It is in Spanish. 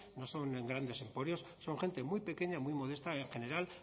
no son grandes emporios son gente muy pequeña muy modesta en general